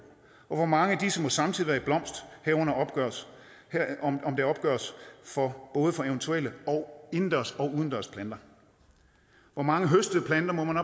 hvor mange af disse må samtidig være i blomst herunder om det opgøres både for eventuelle indendørs og udendørs planter hvor mange høstede planter må man